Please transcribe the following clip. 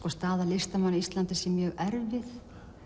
staða listamanna á Íslandi sé mjög erfið